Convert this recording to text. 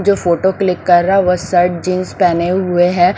जो photo click कर रहा है वह शर्ट जींस पहने हुए हैं।